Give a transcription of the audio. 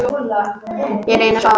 Ég reyndi að sofa.